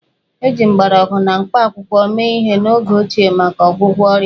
Eji mgbọrọgwụ na mkpakwụkwọ mee ihe n'oge ochie maka ọgwụgwọ ọrịa